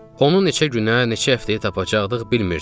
Onu neçə günə, neçə həftəyə tapacaqdıq bilmirdik.